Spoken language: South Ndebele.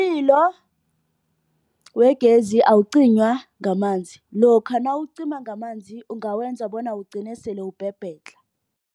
Umlilo wegezi awucinywa ngamanzi. Lokha nawucima ngamanzi ungawenza bona ugcine sele ukubhebhedlha.